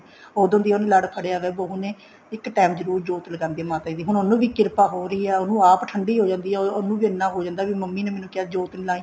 ਉਦੋਂ ਦਾ ਹੀ ਲੜ ਫੜਿਆ ਹੋਇਆ ਬਹੁ ਨੇ ਇੱਕ time ਜਰੁਰ ਜੋਤ ਲਗਾਉਂਦੀ ਆ ਮਾਤਾ ਦੀ ਹੁਣ ਉਹਨੂੰ ਵੀ ਕਿਰਪਾ ਹੋ ਰਹੀ ਏ ਉਹਨੂੰ ਆਪ ਵੀ ਠੰਡੀ ਹੋ ਜਾਂਦੀ ਆ ਉਹਨੂੰ ਵੀ ਇੰਨਾ ਹੋ ਜਾਂਦਾ ਮੰਮੀ ਨੇ ਮੈਨੂੰ ਕਿਹਾ ਜੋਤ ਨੀ ਲਈ